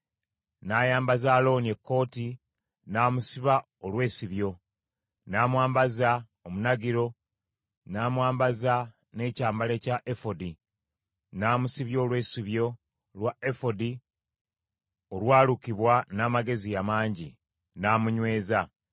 N’ayambaza Alooni ekkooti, n’amusiba olwesibyo, n’amwambaza omunagiro, n’amwambaza n’ekyambalo ekya efodi, n’amusibya olwesibyo lwa efodi olwalukibwa n’amagezi amangi, n’amunyweza.